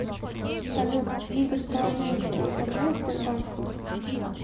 салют игорь коломейский управляет сбербанком